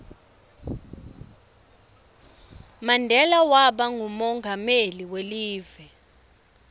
mandela waba ngumonqameli welive